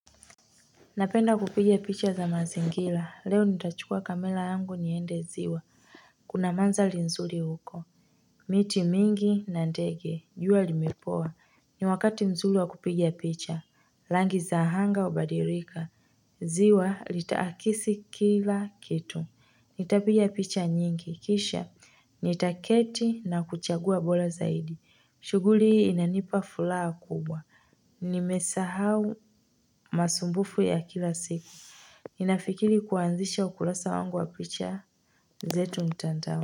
Napenda kupiga picha za mazingila leo nitachukua kamela yangu niende ziwa, kuna manzali nzuli huko, miti mingi na ndege juwa limepoa ni wakati nzuli wa kupiga picha langi za hanga ubadirika, Ziwa litakisi kila kitu nitapigia picha nyingi kisha nitaketi na kuchagua bola zaidi shuguli hii inanipa fulaa kubwa nimesahau. Masumbufu ya kila siku Ninafikiri kuanzisha ukulasa wangu wa picha zetu mtandao.